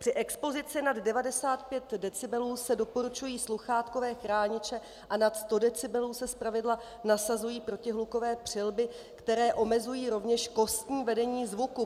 Při expozici nad 95 decibelů se doporučují sluchátkové chrániče a nad 100 decibelů se zpravidla nasazují protihlukové přilby, které omezují rovněž kostní vedení zvuku.